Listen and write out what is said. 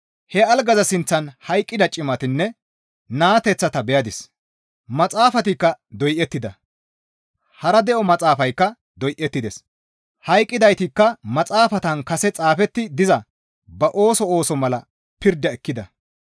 He algaza sinththan hayqqida cimatanne naateththata beyadis; maxaafatikka doyettida; hara de7o maxaafaykka doyettides; hayqqidaytikka maxaafatan kase xaafetti diza ba ooso ooso mala pirda ekkida.